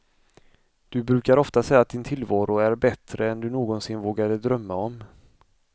Du brukar ofta säga att din tillvaro är bättre än du någonsin vågade drömma om.